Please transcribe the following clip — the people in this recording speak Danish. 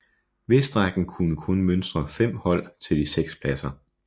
Vestrækken kunne kun mønstre 5 hold til de 6 pladser